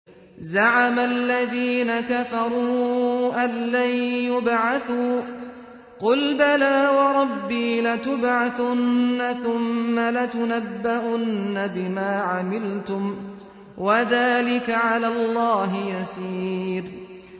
زَعَمَ الَّذِينَ كَفَرُوا أَن لَّن يُبْعَثُوا ۚ قُلْ بَلَىٰ وَرَبِّي لَتُبْعَثُنَّ ثُمَّ لَتُنَبَّؤُنَّ بِمَا عَمِلْتُمْ ۚ وَذَٰلِكَ عَلَى اللَّهِ يَسِيرٌ